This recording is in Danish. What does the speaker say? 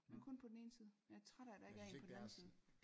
Men kun på den ene side jeg er træt af at der ikke er en på den anden side